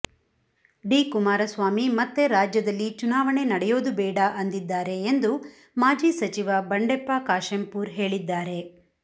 D Kumaraswamy ಮತ್ತೆ ರಾಜ್ಯದಲ್ಲಿ ಚುನಾವಣೆ ನಡೆಯೋದು ಬೇಡ ಅಂದಿದ್ದಾರೆ ಎಂದು ಮಾಜಿ ಸಚಿವ ಬಂಡೆಪ್ಪ ಕಾಶೆಂಪೂರ್ ಹೇಳಿದ್ದಾರೆ